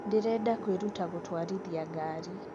ndĩrenda kwĩruta gũtwarithia gari